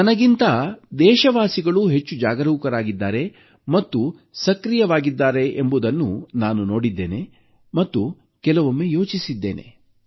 ನನಗಿಂತ ದೇಶವಾಸಿಗಳು ಹೆಚ್ಚು ಜಾಗರೂಕರಾಗಿದ್ದಾರೆ ಮತ್ತು ಸಕ್ರಿಯವಾಗಿದ್ದಾರೆಂಬುದನ್ನು ನಾನು ನೋಡಿದ್ದೇನೆ